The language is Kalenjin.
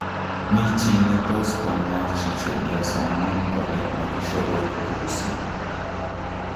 �mi chi netos komwachii chepiosanon kole magishorortosii???